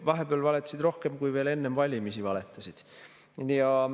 Vahepeal valetasid rohkem, kui veel enne valimisi valetasid.